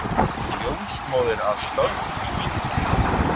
Ljósmóðir að störfum.